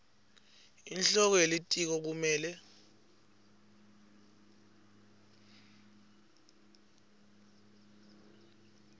inhloko yelitiko kumele